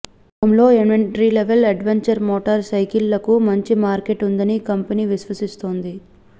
శంలో entry level adventure motor సైకిళ్లకు మంచి market ఉందని కంపెనీ విశ్వసిస్తోంది